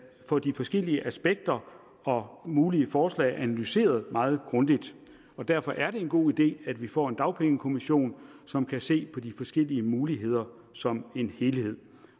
få de forskellige aspekter og mulige forslag analyseret meget grundigt og derfor er det en god idé at vi får en dagpengekommission som kan se på de forskellige muligheder som en helhed